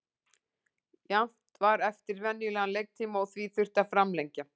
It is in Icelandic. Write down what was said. Jafnt var eftir venjulegan leiktíma og því þurfti að framlengja.